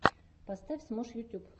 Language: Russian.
поставь смош ютьюб